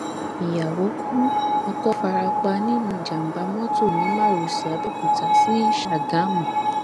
ìyàwó ku ọkọ fara pa nínú ìjàmbá mọtò ní márosẹ àbẹòkúta sí ṣàgámù